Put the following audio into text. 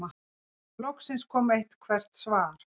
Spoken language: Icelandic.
Loksins kom eitthvert svar.